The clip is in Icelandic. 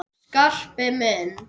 Skarpi minn!